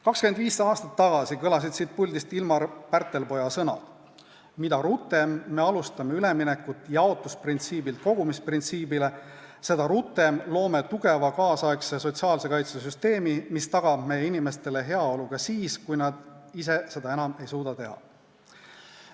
25 aastat tagasi kõlasid siit puldist Ilmar Pärtelpoja sõnad: "Mida rutem me alustame üleminekut jaotusprintsiibilt kogumisprintsiibile, seda rutem loome tugeva kaasaegse sotsiaalse kaitse süsteemi, mis tagab meie inimeste heaolu ka siis, kui nad ise seda enam ei suuda teha.